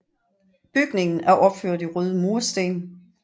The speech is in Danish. Bygningen er opført i røde mursten